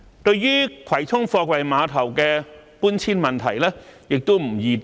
對葵涌貨櫃碼頭的搬遷問題，亦不易定案。